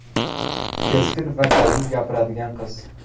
Keskin va dadil gapiradigan qiz.